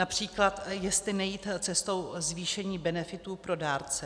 Například jestli nejít cestou zvýšení benefitů pro dárce.